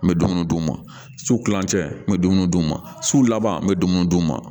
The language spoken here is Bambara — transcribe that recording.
N bɛ dumuni d'u ma su kilancɛ n bɛ dumuni d'u ma su laban n bɛ dumuni d'u ma